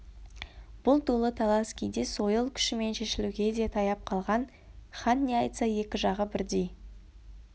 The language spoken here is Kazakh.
бұл долы талас кейде сойыл күшімен шешілуге де таяп қалған хан не айтса екі жағы бірдей